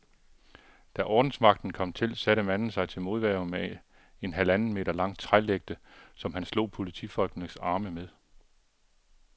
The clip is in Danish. Da ordensmagten kom til, satte manden sig til modværge med en halvanden meter lang trælægte, som han slog politifolkenes arme med.